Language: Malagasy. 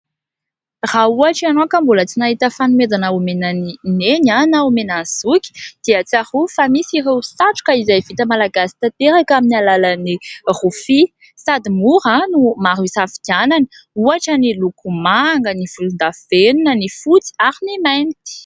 Raha ohatra ianao ka mbola tsy nahita fanomezana omena an'i Neny na omena an'i Zoky dia tsarovy fa misy ireo satroka vita malagasy tanteraka amin'ny alalan'ny rofia. Sady mora no maro hisafidianana, ohatra ny loko manga, ny volondavenona, ny fotsy ary ny mainty.